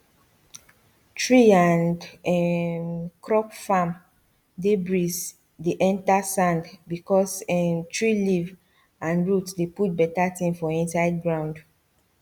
tree and um crop farm dey breeze dey enter sand because um tree leaf and root dey put better thing for inside ground